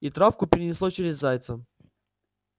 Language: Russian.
и травку перенесло через зайца